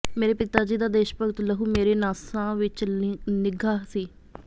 ਮੇਰੇ ਪਿਤਾ ਜੀ ਦਾ ਦੇਸ਼ਭਗਤ ਲਹੂ ਮੇਰੇ ਨਾਸਾਂ ਵਿਚ ਨਿੱਘਾ ਸੀ